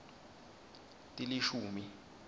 tilishumi